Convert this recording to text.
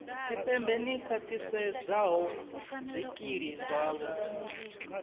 tshipembe ḽi khwaṱhisedzaho zwikili zwavho